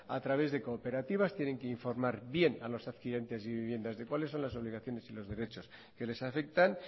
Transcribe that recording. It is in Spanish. a través de cooperativas tienen que informar bien a los adquirientes de viviendas de cuáles son las obligaciones y los derechos que les afectan